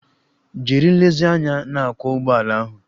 Jiri nlezianya na-akwọ ụgbọala ahụ!